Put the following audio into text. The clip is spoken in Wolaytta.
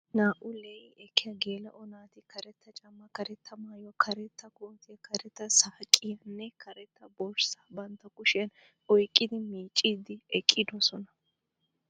Naa"u lee'i ekkiya geela'o naati karetta caamma, karetta maayuwa, karetta kootiya, karetta saqqiyanne karetta borsaa bantta kushiyan oyiqqidi miicciiddi eqqidosona.